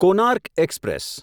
Konark express